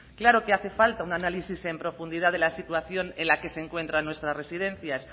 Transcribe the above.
claro que hace falta un análisis en profundidad de la situación en la que se encuentran nuestras residencias